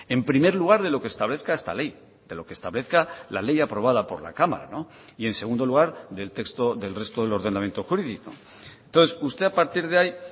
en primer lugar de lo que establezca esta ley de lo que establezca la ley aprobada por la cámara y en segundo lugar del texto del resto del ordenamiento jurídico entonces usted a partir de ahí